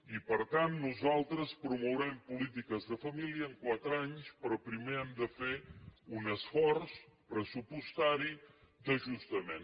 i per tant nosaltres promourem polítiques de família en quatre anys però primer hem de fer un esforç pressupostari d’ajustament